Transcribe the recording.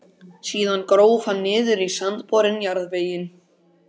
Síðan gróf hann niður í sandborinn jarðveginn.